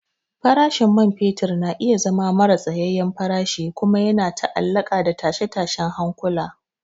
Farashin man fetur na iya zama maras tsayayyen farashi kuma yana ta'allaƙa da tashe-tashen hankula.